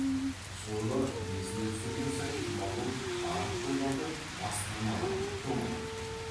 соны есіне түсірген сайын жұмағұл арық қойларды бастырмалатып домалатып кетеді